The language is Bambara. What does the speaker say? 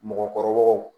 Mɔgɔkɔrɔbaw